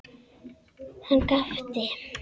Hann gapti.